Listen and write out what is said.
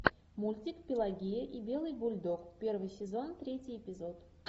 мультик пелагея и белый бульдог первый сезон третий эпизод